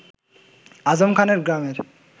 আজম খানের গ্রামের